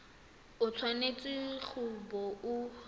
o tshwanetse go bo o